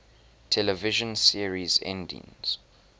television series endings